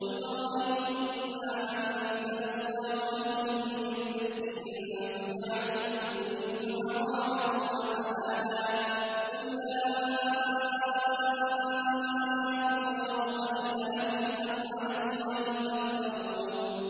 قُلْ أَرَأَيْتُم مَّا أَنزَلَ اللَّهُ لَكُم مِّن رِّزْقٍ فَجَعَلْتُم مِّنْهُ حَرَامًا وَحَلَالًا قُلْ آللَّهُ أَذِنَ لَكُمْ ۖ أَمْ عَلَى اللَّهِ تَفْتَرُونَ